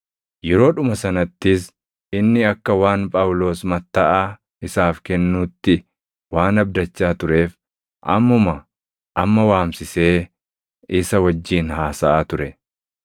Yeroodhuma sanattis inni akka waan Phaawulos mattaʼaa isaaf kennuutti waan abdachaa tureef ammuma amma waamsisee isa wajjin haasaʼaa ture.